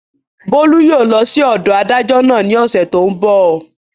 Bólú yóò lọ sí ọ̀dọ̀ adájọ́ náà ní ọ̀sẹ̀ tó n bọ̀